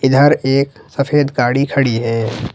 इधर एक सफेद गाड़ी खड़ी है।